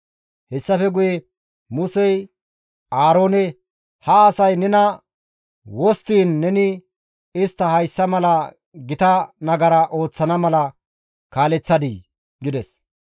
Hessafe guye, Musey Aaroone, «Ha asay nena wosttiin neni istta hayssa mala gita nagara ooththana mala kaaleththadii?» gides.